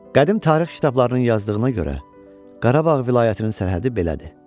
Qədim tarix kitablarının yazdığına görə, Qarabağ vilayətinin sərhədi belədir.